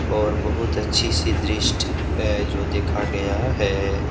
और बहुत अच्छी-सी द्रिष्ट है जो देखा गया है।